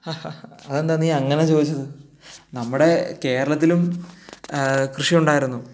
ഹ ഹ ഹാ അതെന്താ നീ അങ്ങനെ ചോദിച്ചത് നമ്മുടെ കേരളത്തിലും കൃഷി ഉണ്ടായിരുന്നു